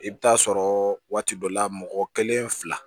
I bɛ taa sɔrɔ waati dɔ la mɔgɔ kelen fila